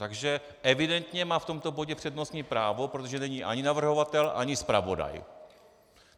Takže evidentně má v tomto bodě přednostní právo, protože není ani navrhovatel, ani zpravodaj.